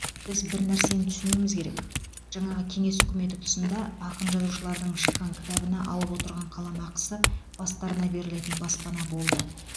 біз бір нәрсені түсінуіміз керек жаңағы кеңес үкіметі тұсында ақын жазушылардың шыққан кітабына алып отырған қаламақысы бастарына берілетін баспана болды